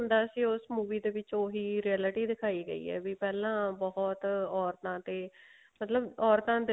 ਦਾ ਸੀ ਉਸ movie ਦੇ ਵਿੱਚ ਉਹੀ realty ਦਿਖਾਈ ਗਈ ਹੈ ਵੀ ਪਹਿਲਾਂ ਬਹੁਤ ਔਰਤਾਂ ਤੇ ਮਤਲਬ ਔਰਤਾਂ